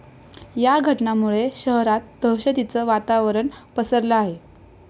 या घटनांमुळे शहरात दहशतीचं वातावरण पसरलं आहे.